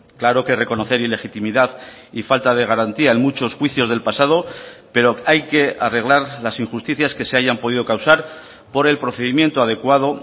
claro que reconocer ilegitimidad y falta de garantía en muchos juicios del pasado pero hay que arreglar las injusticias que se hayan podido causar por el procedimiento adecuado